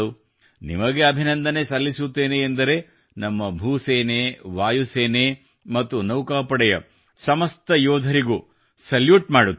ನಿಮಗೆ ಅಭಿನಂದನೆ ಸಲ್ಲಿಸುತ್ತೇನೆ ಎಂದರೆ ನಮ್ಮ ಭೂ ಸೇನೆ ವಾಯು ಸೇನೆ ಮತ್ತು ನೌಕಾಪಡೆಯ ಸಮಸ್ತ ಯೋಧರಿಗೂ ಸಲ್ಯೂಟ್ ಮಾಡುತ್ತೇನೆ